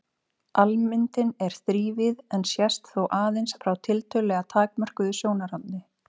Almyndin er þrívíð en sést þó aðeins frá tiltölulega takmörkuðu sjónarhorni.